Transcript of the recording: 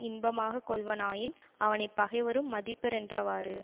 இன்பமாக கொள்வனாயின் அவனை பகைவரும் மதிப்பரென்றவாறு